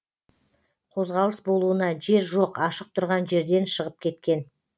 қозғалыс болуына жер жоқ ашық тұрған жерден шығып кеткен